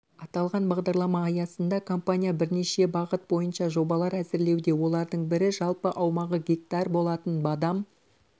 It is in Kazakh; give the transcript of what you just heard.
аталған бағдарлама аясында компания бірнеше бағыт бойынша жобалар әзірлеуде олардың бірі жалпы аумағы гектар болатын бадам